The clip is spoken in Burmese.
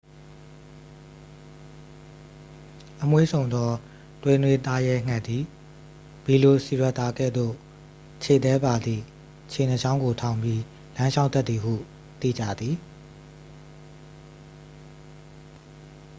အမွှေးစုံသော သွေးနွေးသားရဲငှက်သည် ဗီလိုစီရပ်တာ ကဲ့သို့ ခြေသည်းပါသည့် ခြေနှစ်ချောင်းကို ထောင်ပြီး လမ်းလျှောက်တတ်သည်ဟု သိကြသည်